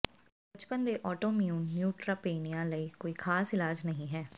ਬਚਪਨ ਦੇ autoimmune neutropenia ਲਈ ਕੋਈ ਖਾਸ ਇਲਾਜ ਨਹੀਂ ਹੈ